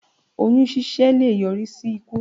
Oyún ṣíṣẹ́ leè yọrí í sí ikú